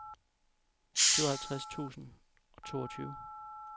syvoghalvtreds tusind og toogtyve